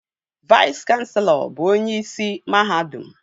Vais kanselọ bụ onyeisi mahadum